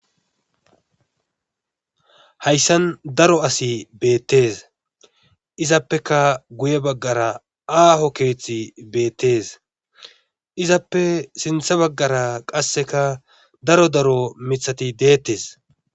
Hayssan daro asi beettees izappekka guye baggara aaho keethi beetees izappe sintha baggara qasseka daro daro mithati deettees.